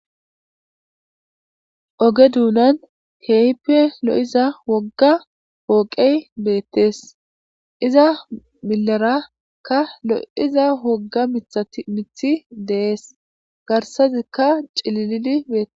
oge duunan heehippe lo7iza wogga ooqey beettes iza milarakka lo7iza wogga mithat mithi dees garsazikka cililili beettes